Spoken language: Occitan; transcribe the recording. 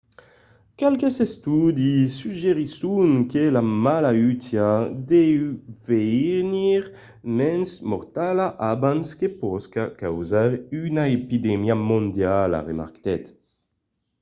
qualques estudis suggerisson que la malautiá deu venir mens mortala abans que pòsca causar una epidemia mondiala remarquèt